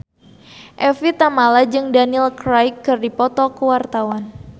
Evie Tamala jeung Daniel Craig keur dipoto ku wartawan